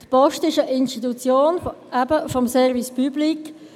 Die Post ist eben gerade eine Institution des Service public.